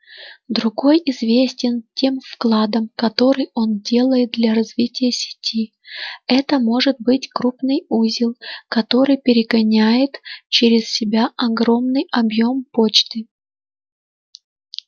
другой известен тем вкладом который он делает для развития сети это может быть крупный узел который перегоняет через себя огромный объем почты